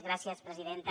gràcies presidenta